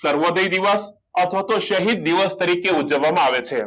સર્વોદય દિવસ અથવા તો શાહિદ દિવસ તરીકે ઉજવવામાં આવે છે